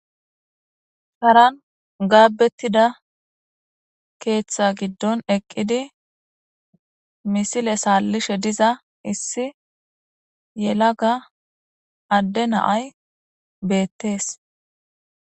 haran gaabettida keeththa giddon eqqidi misile saallishe diza issi yelaga adde naay beettees